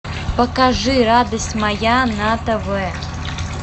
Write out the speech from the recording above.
покажи радость моя на тв